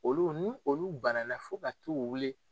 Olu n ni olu bana fo ka t'u wili